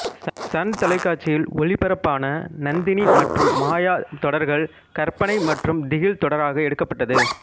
Sun தொலைக்காட்சியில் ஒளிபரப்பான நந்தினி மற்றும் மாயா தொடர்கள் கற்பனை மற்றும் திகில் தொடராக எடுக்கப்பட்டது